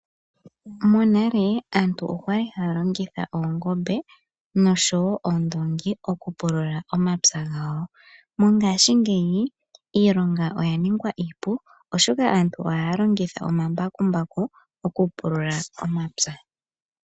Monale aantu okwali haya longitha oongombe noondongi oku pulula omapya gawo. Mongaashi ngeyi iilonga oya ningwa iipu oshoka aantu ohaya longitha oma mbakumbaku